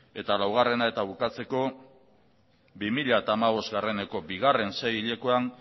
eta laugarrena eta bukatzeko bi mila hamabosteko bigarren sei hilekoan